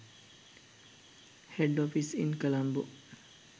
head offices in colombo